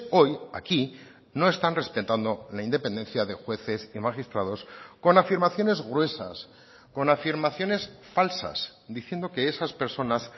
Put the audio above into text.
hoy aquí no están respetando la independencia de jueces y magistrados con afirmaciones gruesas con afirmaciones falsas diciendo que esas personas